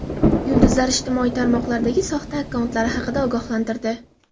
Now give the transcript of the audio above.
Yulduzlar ijtimoiy tarmoqlardagi soxta akkauntlari haqida ogohlantirdi.